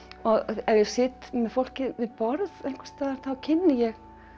ef ég sit með fólki við borð einhvers staðar þá kynni ég